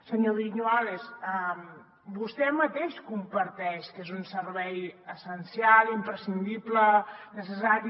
senyor viñuales vostè mateix comparteix que és un servei essencial imprescindible necessari